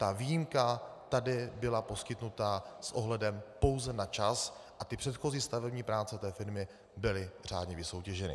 Ta výjimka tady byla poskytnuta s ohledem pouze na čas a ty předchozí stavební práce té firmy byly řádně vysoutěženy.